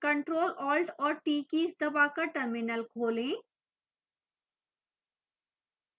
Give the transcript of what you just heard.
ctrl alt और t keys दबाकर terminal खोलें